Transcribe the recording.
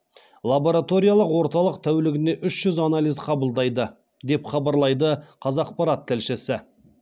лабораториялық орталық тәулігіне үш жүз анализ қабылдайды деп хабарлайды қазақпарат тілшісі